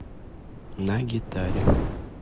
на гитаре